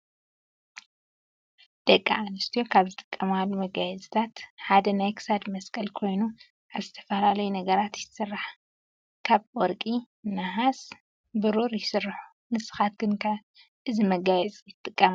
ደቂ አንስትዮ ካብ ዝጥቀማሉ መጋየፅታት ሓደ ናይ ክሳድ መስቀል ኮይኑ ካብ ዝተፋላለዩ ነገራት ይስራሕ ካብ ወርቂ ፤ነሃስ፤ ብሩሩ ይስሩሑ። ንስካትክን ከ እዚ መጋየፂ ትጥቀማ ዶ?